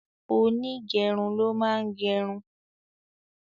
Onígẹrun ló máa ń gerun